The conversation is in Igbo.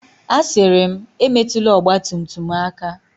Asịrị m, Emetụla ọgba tum tum m aka!